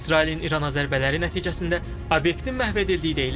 İsrailin İrana zərbələri nəticəsində obyektin məhv edildiyi deyilir.